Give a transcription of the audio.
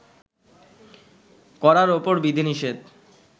করার উপর বিধিনিষেধ